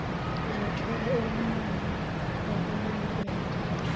zothola ukunakwa okuyokwenza